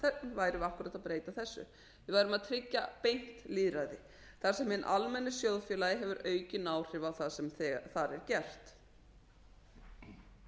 værum við akkúrat að breyta þessu við værum að tryggja beint lýðræði þar sem hinn almenni sjóðfélagi hefur aukin áhrif á það sem þar er gert margir hafa svo